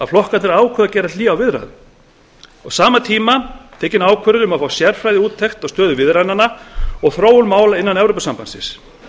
flokkarnir hafi ákveðið að gera hlé á viðræðunum á sama tíma var tekin ákvörðun um að fá sérfræðiúttekt á stöðu viðræðnanna og þróun mála innan evrópusambandsins